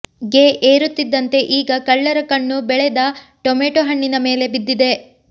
ಗೆ ಏರುತ್ತಿದ್ದಂತೆ ಈಗ ಕಳ್ಳರ ಕಣ್ಣು ಬೆಳೆದ ಟೊಮ್ಯಾಟೊ ಹಣ್ಣಿನ ಮೇಲೆ ಬಿದ್ದಿದೆ